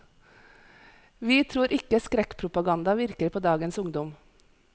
Vi tror ikke skrekkpropaganda virker på dagens ungdom.